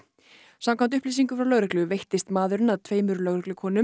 samkvæmt upplýsingum frá lögreglu veittist maðurinn að tveimur lögreglukonum